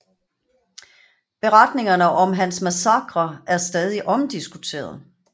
Beretningerne om hans massakrer er stadig omdiskuteret